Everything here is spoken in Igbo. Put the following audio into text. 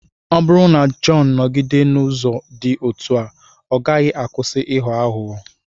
Ọ bụrụ na Jọn nọgide n’ụzọ dị otú a, ọ gaghị akwụsị ịghọ aghụghọ.